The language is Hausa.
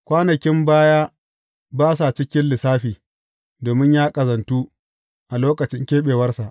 Kwanakin baya ba sa cikin lissafi, domin ya ƙazantu a lokacin keɓewarsa.